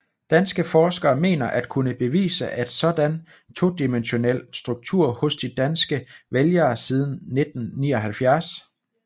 Danske forskere mener at kunne påvise en sådan todimensionel struktur hos de danske vælgere siden 1979